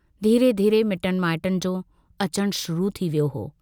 धीरे-धीरे मिटन माइटनि जो अचणु शुरु थी वियो हो।